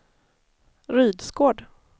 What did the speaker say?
Rydsgård